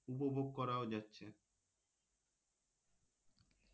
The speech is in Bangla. উপভোগ করাও যাচ্ছে,